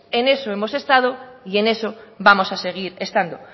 en eso hemos estado y en eso vamos a seguir estando